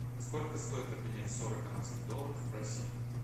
сколько стоит обменять сорок канадских долларов в россии